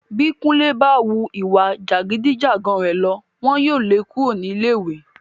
Bí Kúnlé bá wu ìwà jàgídí-jàgan rẹ̀ lọ, wọn yóò le kúrò ní ilé ìwé.